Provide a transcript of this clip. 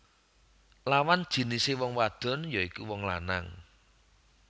Lawan jinisé wong wadon ya iku wong lanang